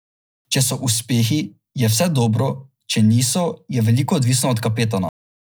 Če so uspehi, je vse dobro, če niso, je veliko odvisno od kapetana.